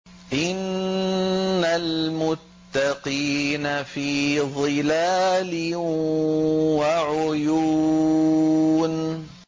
إِنَّ الْمُتَّقِينَ فِي ظِلَالٍ وَعُيُونٍ